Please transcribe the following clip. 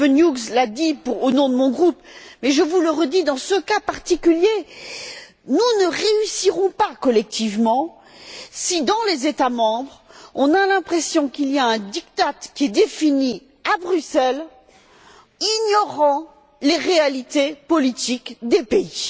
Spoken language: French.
Steven Hughes l'a dit au nom de mon groupe, mais je vous le redis dans ce cas particulier, nous ne réussirons pas collectivement si, dans les États membres, on a l'impression qu'il y a un diktat qui est défini à Bruxelles, ignorant les réalités politiques des pays.